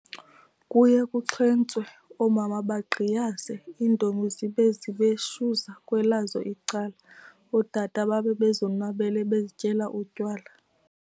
Kuye kuxhentwse, oomama bangqiyaze, iintombi zibe zibheshuza kwelazo icala, ootata babe bezomnwabele bezityela utywala.